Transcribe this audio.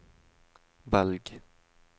velg